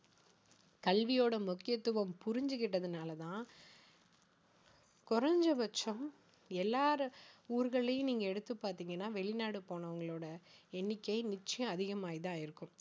கல்வியோட முக்கியத்துவம் புரிஞ்சிக்கிட்டதுனால தான் குறைந்தபட்சம் எல்லா ஊர்கள்லயும் நீங்க எடுத்து பார்த்தீங்கன்னா வெளிநாடு போனவங்களோட எண்ணிக்கை நிச்சயம் அதிகமாகி தான் இருக்கும்